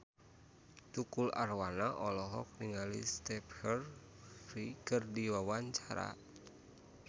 Tukul Arwana olohok ningali Stephen Fry keur diwawancara